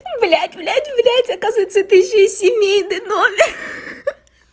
блядь блядь блядь оказывается это ещё и семейный номер ха-ха